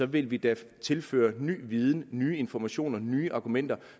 vil vi da tilføre ny viden nye informationer nye argumenter